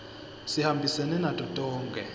sihambisene nato tonkhe